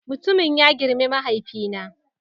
Mutumun ya girme mahaifina